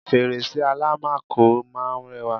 fèrèsé àlámakò máà ń rẹwà